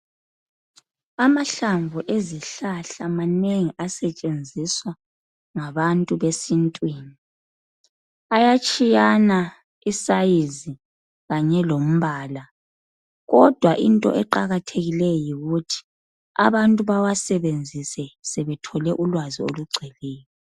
Amahlamvu ezihlahla manengi asetshenziswa ngabantu besintwini, ayatshiyana isayizi kanye lombala kodwa into eqakathekileyo yikuthi abantu bawasebenzise sebethole ulwazi olugcweleyo.